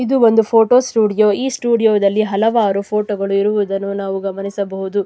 ಇದು ಒಂದು photo studio ಈ ಫೋಟೋ ಸ್ಟುಡಿಯೋ ದಲ್ಲಿ ಹಲವಾರು ಫೋಟೋ ಗಳು ಇರುವುದನ್ನು ನಾವು ಗಮನಿಸಬಹುದು.